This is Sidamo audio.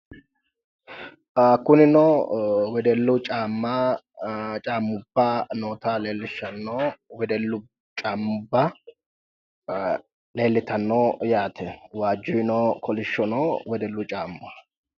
kunino wedellu caamma, caammubba noota leellishanno wedellu caammubba leellitanno yaate waaju no, kolishshu no wedellu caamma.